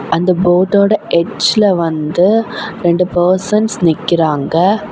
அந்த போட்டோட எட்ஜ்ல வந்து ரெண்டு பர்சன்ஸ் நிக்கிறாங்க.